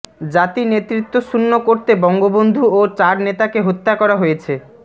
জাতি নেতৃত্বশূন্য করতে বঙ্গবন্ধু ও চার নেতাকে হত্যা করা হয়েছে